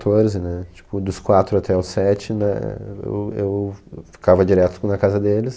né. Tipo, dos quatro até os sete né, eu eu ficava direto na casa deles.